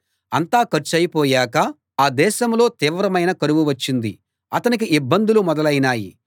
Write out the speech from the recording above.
అంతా ఖర్చయిపోయాక ఆ దేశంలో తీవ్రమైన కరువు వచ్చింది అతనికి ఇబ్బందులు మొదలైనాయి